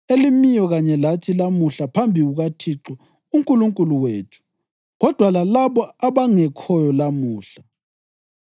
elimiyo kanye lathi lamuhla phambi kukaThixo uNkulunkulu wethu kodwa lalabo abangekhoyo lamuhla.